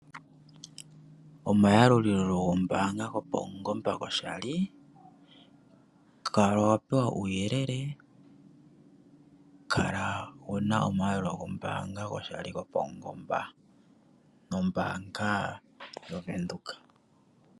Omayalulilo gombaanga go paungomba ko shali. Kala wa pewa uuyelele. Kala wuna omayelo gombaanga go paungomba mombaanga yaVenduka.